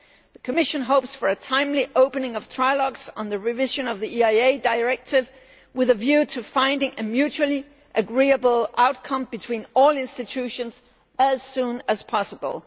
The Commission hopes for a timely opening of trialogues on the revision of the EIA Directive with a view to finding a mutually agreeable outcome between all institutions as soon as possible.